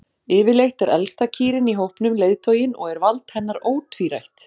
Yfirleitt er elsta kýrin í hópnum leiðtoginn og er vald hennar ótvírætt.